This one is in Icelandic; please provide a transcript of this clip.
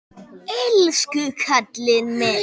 Elsku karlinn minn.